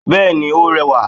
Bẹ́ẹ̀ni ó rẹwà